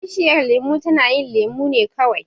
Bishiyar lemo tana yin lemo ne kawai.